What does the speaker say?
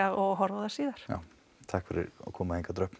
og horfa síðar já takk fyrir að koma hingað Dröfn